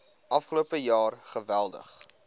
afgelope jaar geweldig